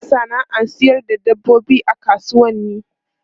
Ana sana'ar sayar da dabbobi a kasuwanni.